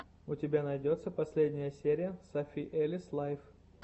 у тебя найдется последняя серия софи элис лайф